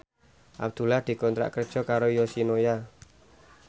Abdullah dikontrak kerja karo Yoshinoya